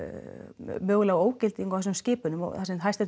mögulega ógildingu á þessum skipunum þar sem